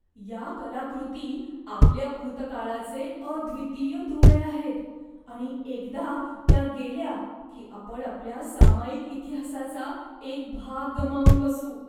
या कलाकृती आपल्या भूतकाळाचे अद्वितीय दुवे आहेत आणि एकदा त्या गेल्या की आपण आपल्या सामायिक इतिहासाचा एक भाग गमावून बसू.